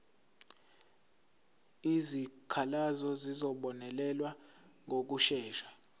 izikhalazo zizobonelelwa ngokushesha